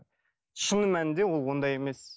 шыны мәнінде ол ондай емес